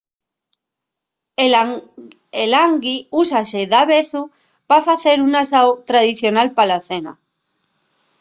el ḥangi úsase davezu pa facer un asáu tradicional pa la cena